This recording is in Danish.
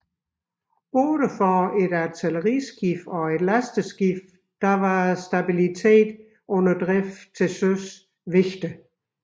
Både for et artilleriskibe og et lasteskibe var stabilitet under drift til søs vigtig